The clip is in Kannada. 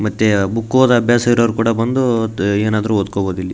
ಮತ್ತೆ ಬುಕ್ ಒದ್ ಅಭ್ಯಾಸ ಇರೋರು ಕೂಡ ಬಂದು ಏನಾದ್ರು ಒಡ್ಕೋಬೋದ ಇಲ್ಲಿ.